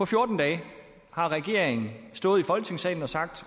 fjorten dage har regeringen stået i folketingssalen og sagt